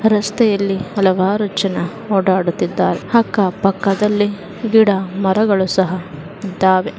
ರಸ್ತೆಯಲ್ಲಿ ಹಲವಾರು ಜನ ಓಡಾಡುತ್ತಿದ್ದಾರೆ ಅಕ್ಕ ಪಕ್ಕದಲ್ಲಿ ಗಿಡ ಮರಗಳು ಸಹ ಇದ್ದಾವೆ .